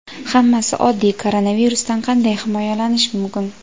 Hammasi oddiy: koronavirusdan qanday himoyalanish mumkin?.